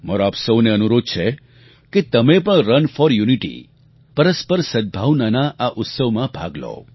મારો આપ સહુને અનુરોધ છે કે તમે પણ રન ફૉર યૂનિટી પરસ્પર સદભાવનાનાં આ ઉત્સવમાં ભાગ લો